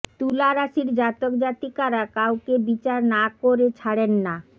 তুলা রাশির জাতক জাতিকারা কাউকে বিচার না কের ছাড়েন না